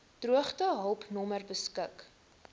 droogtehulp nommer beskik